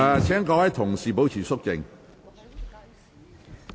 請議員保持肅靜。